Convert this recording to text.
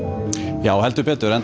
já enda